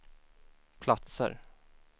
platser